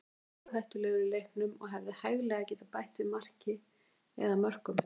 Atli var stórhættulegur í leiknum og hefði hæglega getað bætt við marki eða mörkum.